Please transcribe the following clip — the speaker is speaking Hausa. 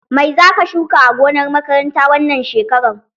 Mai zaka shuka a gonar makaranta wannan shekaran?